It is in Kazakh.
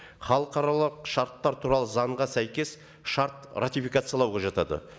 халықаралық шарттар туралы заңға сәйкес шарт ратификациялауға жатады